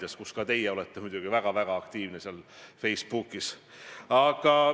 Jaa, ma küll ei tea täpselt, kumb on meie erakonna liige, kas Mary Jordan-Kross või Indrek Tarand.